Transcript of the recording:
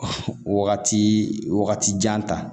Wagati wagati jan ta